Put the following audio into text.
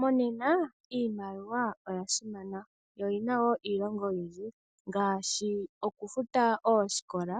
Monena iimaliwa oyasimana noyina iilonga oyindji ngaashi okufuta oosikola,